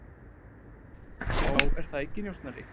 Já, er það ekki, njósnari?